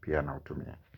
Pia na utumia.